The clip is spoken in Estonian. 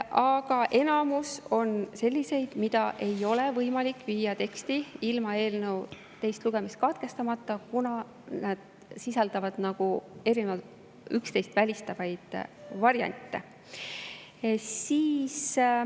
Aga enamus on sellised, mida ei ole võimalik viia teksti ilma eelnõu teist lugemist katkestamata, kuna need sisaldavad üksteist välistavaid variante.